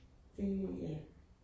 Det ja